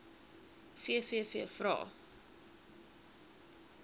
vvvvrae